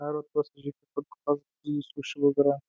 әр отбасы жеке құдық қазып тұзды су ішіп отырған